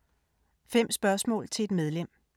5 spørgsmål til et medlem